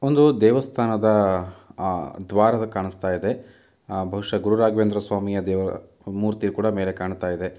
ಒಂದು ದೇವಸ್ಥಾನದ ಅಹ್ ದ್ವಾರ ಕಾಣಸ್ತಾಯಿದೆ ಬಹುಶಃ ಗುರುರಾಘವೇಂದ್ರ ಸ್ವಾಮಿಯ ದೇವ ಮೂರ್ತಿ ಕೂಡ ಮೇಲೆ ಕಾಣ್ತಾ ಇದೆ.